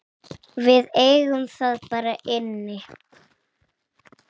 Við eigum það bara inni.